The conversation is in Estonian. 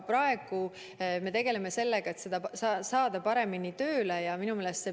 Praegu me tegeleme sellega, et see kõik paremini tööle saada.